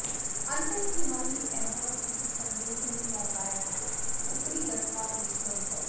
अन्तः किमपि अभवत् इति सन्देहेन नौकायाः उपरि गत्वा दृष्टवन्तौ